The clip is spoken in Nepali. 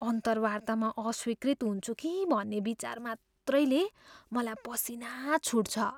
अन्तर्वार्तामा अस्वीकृत हुन्छु कि भन्ने विचार मात्रैले मलाई पसिना छुट्छ।